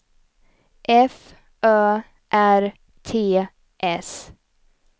F Ö R T S